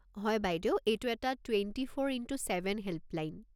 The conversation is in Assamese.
হয়, বাইদেউ, এইটো এটা twenty four into seven helpline.